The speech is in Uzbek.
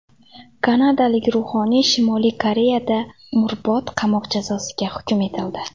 Kanadalik ruhoniy Shimoliy Koreyada umrbod qamoq jazosiga hukm etildi.